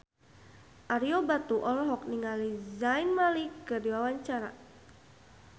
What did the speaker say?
Ario Batu olohok ningali Zayn Malik keur diwawancara